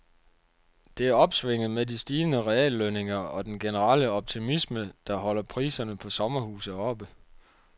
Det er opsvinget med de stigende reallønninger og den generelle optimisme, der holder priserne på sommerhuse oppe.